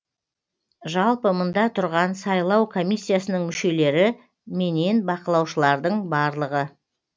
жалпы мында тұрған сайлау комиссиясының мүшелері менен бақылаушылардың барлығы